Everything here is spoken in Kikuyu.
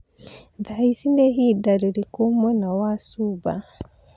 thaa ĩci nĩ ĩhinda rĩrĩkũ mwena wa Cuba